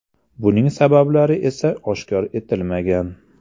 Buning sabablari esa oshkor etilmagan.